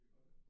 Det gør det